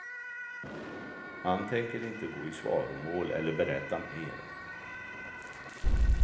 Man tänker inte gå i svaromål eller berätta mer.